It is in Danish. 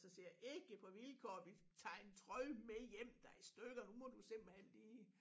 Så siger jeg ikke på vilkår vi tager en trøje med hjem der i stykker nu må du simpelthen lige